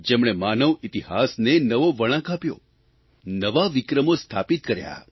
જેમણે માનવ ઇતિહાસને નવો વળાંક આપ્યો નવા વિક્રમો સ્થાપિત કર્યા